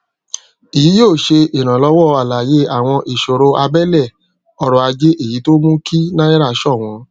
èyí yóò ṣe ìrànlọwọ àlàyé àwọn ìṣòro abẹlẹ ọrọ ajé èyí tó mú kí náírà ṣọwọn